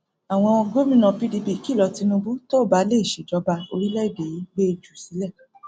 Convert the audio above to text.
àwọn gómìnà pdp kìlọ tinubu tó o bá lè ṣèjọba orílẹèdè yìí mo gbé e jù sílẹ